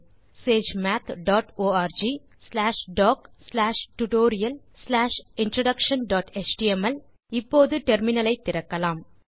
HTTP colon slash slash SageMath dot org slash doc slash tutorial slash introduction dot html இப்போது terminal ஐ திறக்கலாம்